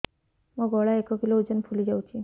ମୋ ଗଳା ଏକ କିଲୋ ଓଜନ ଫୁଲି ଯାଉଛି